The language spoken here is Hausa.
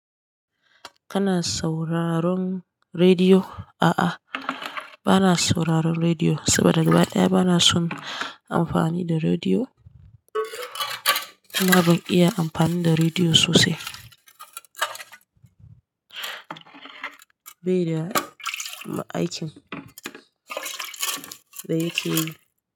Kana sauraron rediyo? A'a bana sauraron rediyo saboda gaba ɗaya bana son amfani da rediyo amma ban iya amfani da rediyo sosai. Bai da aikin da yake yi.